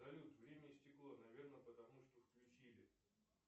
салют время истекло наверное потому что включили